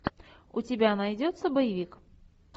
у тебя найдется боевик